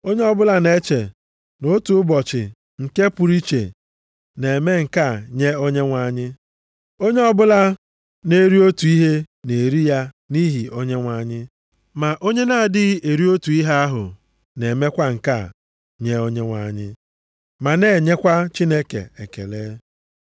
Onye ọbụla na-eche nʼotu ụbọchị bụ nke pụrụ iche, na-eme nke a nye Onyenwe anyị. Onye ọbụla na-eri otu ihe na-eri ya nʼihi Onyenwe anyị. Ma onye na-adịghị eri otu ihe ahụ na-eme kwa nke a nye Onyenwe anyị. Ma na-enyekwa Chineke ekele.